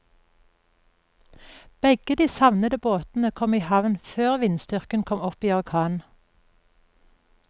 Begge de savnede båtene kom i havn før vindstyrken kom opp i orkan.